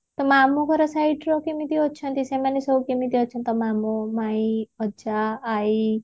ତୋ ମାମୁଘର site ର କେମିତି ଅଛନ୍ତି ସେମାନେ ସବୁ କେମିତି ଅଛନ୍ତି ତୋ ମାମୁ ମାଇଁ ଅଜା ଆଇ